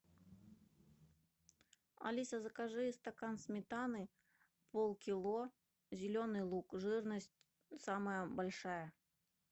алиса закажи стакан сметаны полкило зеленый лук жирность самая большая